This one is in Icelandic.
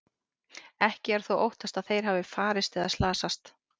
Ekki er þó óttast að þeir hafi farist eða slasast.